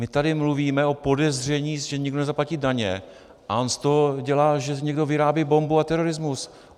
My tady mluvíme o podezření, že někdo nezaplatí daně, a on z toho dělá, že někdo vyrábí bombu a terorismus.